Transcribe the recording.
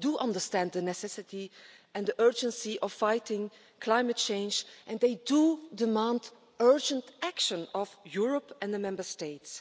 do understand the necessity and the urgency of fighting climate change, and they do demand urgent action of Europe and the Member States.